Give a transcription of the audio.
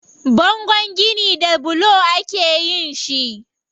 Bangon gini da bulo akeyin shi.